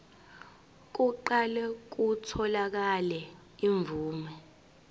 kuqale kutholakale imvume